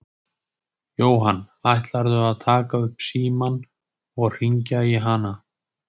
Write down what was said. Jóhann: Ætlarðu að taka upp símann og hringja í hana?